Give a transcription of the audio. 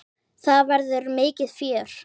Það verður mikið fjör.